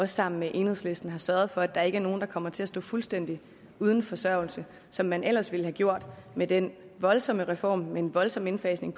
sammen med enhedslisten har sørget for at der ikke er nogen der kommer til at stå fuldstændig uden forsørgelse som man ellers ville have gjort med den voldsomme reform med en voldsom indfasning